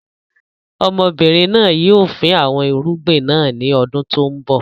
Ọmọbìnrin náà yìí ó fin àwọn irúgbìn náà ńi ọdún tòun bọ̀